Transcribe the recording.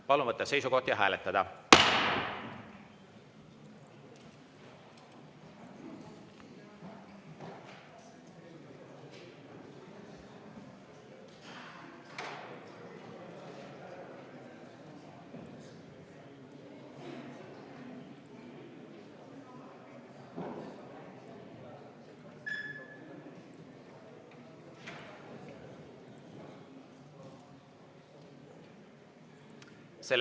Palun võtta seisukoht ja hääletada!